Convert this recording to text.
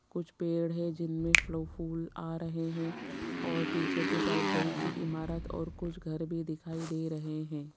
कुछ पेड़ है जिनमें फल फूल आ रहे हैं और पीछे के साइड बड़ी सी इमारत और कुछ घर भी दिखाई दे रहे हैं।